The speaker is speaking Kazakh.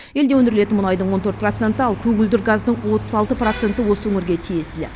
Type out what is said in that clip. елде өндірілетін мұнайдың он төрт проценті ал көгілдір газдың отыз алты проценті осы өңірге тиесілі